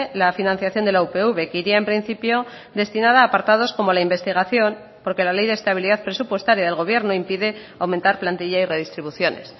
la financiación de la upv que iría en principio destinada a apartados como la investigación porque la ley de estabilidad presupuestaria del gobierno impide aumentar plantilla y redistribuciones